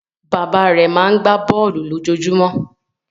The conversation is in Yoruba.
Bàbá rẹ̀ máa ń gbá bọ́ọ́lù lójoojúmọ́.